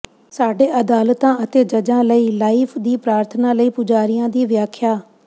ਸਾਡੇ ਅਦਾਲਤਾਂ ਅਤੇ ਜੱਜਾਂ ਲਈ ਲਾਈਫ ਦੀ ਪ੍ਰਾਰਥਨਾ ਲਈ ਪੁਜਾਰੀਆਂ ਦੀ ਵਿਆਖਿਆ